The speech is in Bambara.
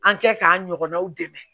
An kɛ k'an ɲɔgɔnnaw dɛmɛ